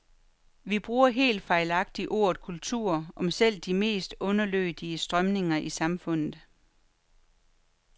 Vi bruger helt fejlagtigt ordet kultur om selv de mest underlødige strømninger i samfundet.